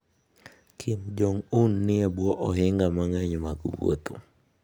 Kim Jong-un ni e bwo ohinga mang'eny mag wuotho.